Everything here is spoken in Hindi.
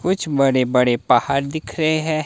कुछ बड़े बड़े पहाड़ दिख रहे हैं।